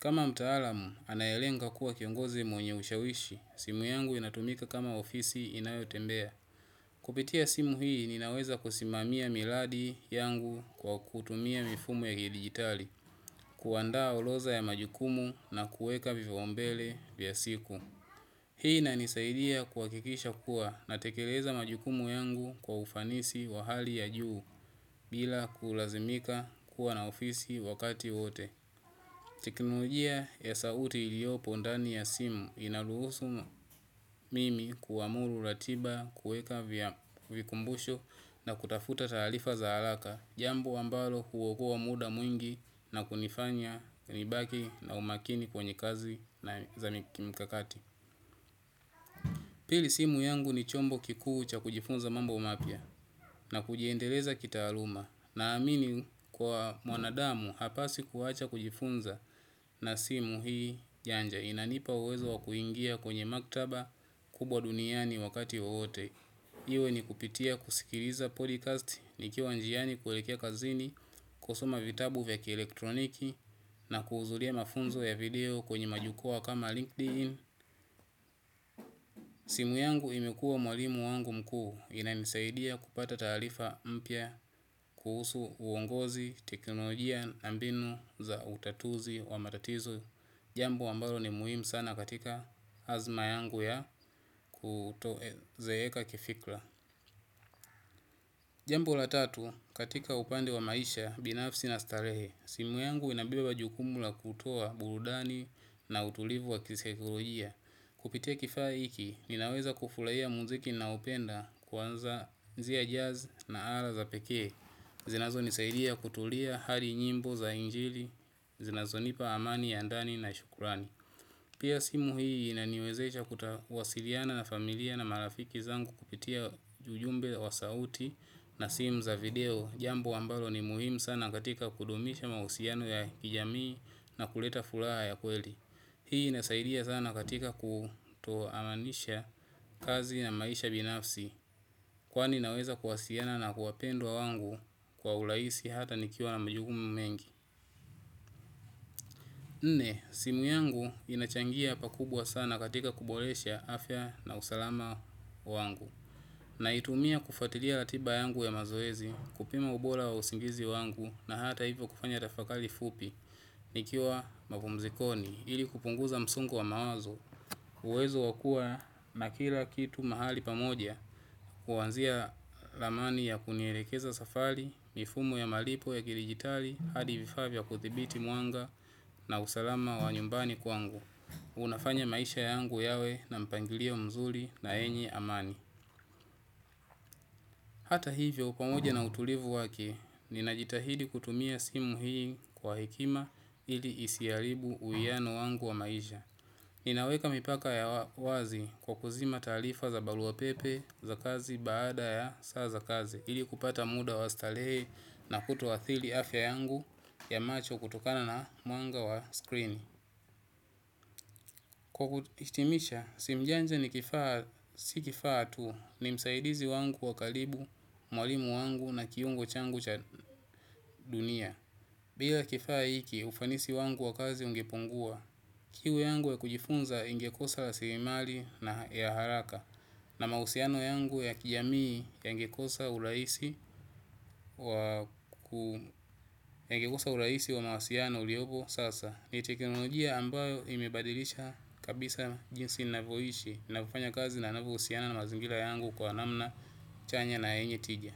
Kama mtaalamu, anayelenga kuwa kiongozi mwenye ushawishi, simu yangu inatumika kama ofisi inayo tembea. Kupitia simu hii, ninaweza kusimamia miradi yangu kwa kutumia mifumo ya kidigitali, kuandaa orodha ya majukumu na kuweka vipaumbele vya siku. Hii inanisaidia kuhakikisha kuwa natekeleza majukumu yangu kwa ufanisi wa hali ya juu bila kulazimika kuwa na ofisi wakati wote. Teknolojia ya sauti iliyopo ndani ya simu inaruhusu mimi kuamuru ratiba kuweka vikumbusho na kutafuta taarifa za haraka. Jambo ambalo huokoa muda mwingi na kunifanya nibaki na umakini kwenye kazi na za kimkakati. Pili simu yangu ni chombo kikuu cha kujifunza mambo mapya na kujiendeleza kitaaluma naamini kwa mwanadamu hapasi kuacha kujifunza na simu hii janja inanipa uwezo wa kuingia kwenye maktaba kubwa duniani wakati wowote. Iwe ni kupitia kusikiliza podcast ni kiwa njiani kuwelekea kazini, kusoma vitabu vya kielektroniki na kuhudhuria mafunzo ya video kwenye majukwaa kama LinkedIn. Simu yangu imekuwa mwalimu wangu mkuu inanisaidia kupata taarifa mpya kuhusu uongozi teknolojia na mbinu za utatuzi wa matatizo. Jambo ambalo ni muhimu sana katika hazma yangu ya kutozeeka kifikra. Jambo la tatu, katika upande wa maisha, binafsi na starehe. Simu yangu inabeba jukumu la kutoa burudani na utulivu wa kisaikolojia. Kupitia kifaa hiki, ninaweza kufurahia muziki ninaoupenda kuanzia jazz na ala za pekee. Zinazonisaidia kutulia hadi nyimbo za injili, zinazonipa amani ya ndani na shukurani. Pia simu hii inaniwezesha kuwasiliana na marafiki zangu kupitia ujumbe wa sauti na simu za video, jambo ambalo ni muhimu sana katika kudumisha mahusiano ya kijamii na kuleta furaha ya kweli. Hii inasaidia sana katika kutoamanisha kazi na maisha binafsi. Kwani inaweza kuwasiliana na wapendwa wangu kwa urahisi hata nikiwa na majukumu mengi. Nne, simu yangu inachangia pakubwa sana katika kuboresha afya na usalama wangu. Naitumia kufuatilia ratiba yangu ya mazoezi kupima ubora wa usingizi wangu na hata hivyo kufanya tafakari fupi nikiwa mapumzikoni ili kupunguza msongo wa mawazo uwezo wa kuwa na kila kitu mahali pamoja kuanzia ramani ya kunielekeza safari, mifumo ya malipo ya kidijitali, hadi vifaa vya kudhibiti mwanga na usalama wa nyumbani kwangu. Unafanya maisha yangu yawe na mpangilio mzuri na yenye amani. Hata hivyo pamoja na utulivu wake, ninajitahidi kutumia simu hii kwa hekima ili isiharibu uwiano wangu wa maisha. Ninaweka mipaka ya wazi kwa kuzima taarifa za barua pepe za kazi baada ya saa za kazi ili kupata muda wa starehe na kuto athiri afya yangu ya macho kutokana na mwanga wa screen kwa kuhitimisha, simu janja ni kifaa, si kifaa tu ni msaidizi wangu wa karibu, mwalimu wangu na kiungo changu cha dunia bila kifaa hiki ufanisi wangu ungepungua, kiu yangu ya kujifunza ingekosa rasirimali ya haraka na mahusiano yangu ya kijamii yangekosa urahisi wa mawasiliano uliopo sasa. Ni teknolojia ambayo imebadilisha kabisa jinsi ninavoishi, ninavyofanya kazi na ninavyohusiana na mazingira yangu kwa namna chanya na yenye tija.